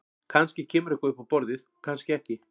Kannski kemur eitthvað upp á borðið og kannski ekki.